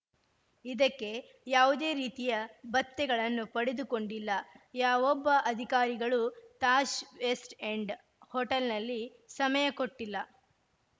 ಇದಕ್ಕೆ ಯಾವುದೇ ರೀತಿಯ ಭತ್ಯೆಗಳನ್ನು ಪಡೆದುಕೊಂಡಿಲ್ಲ ಯಾವೊಬ್ಬ ಅಧಿಕಾರಿಗಳೂ ತಾಜ್‌ ವೆಸ್ಟ್‌ ಎಂಡ್‌ ಹೋಟೆಲ್‌ನಲ್ಲಿ ಸಮಯ ಕೊಟ್ಟಿಲ್ಲ